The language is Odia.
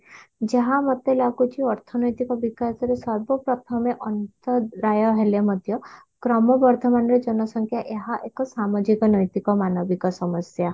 ଯାହା ମୋତେ ଲାଗୁଛି ଅର୍ଥନୈତିକ ବିକାଶରେ ସର୍ବ ପ୍ରଥମେ ଅନ୍ତର୍ଦାୟ ହେଲେ ମଧ୍ୟ କ୍ରମବର୍ଧମାନ ରେ ଜନସଂଖ୍ୟା ଏହା ଏକ ସାମାଜିକ ନୈତିକ ମାନବିକ ସମସ୍ୟା